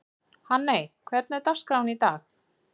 Hanney, hvernig er dagskráin í dag?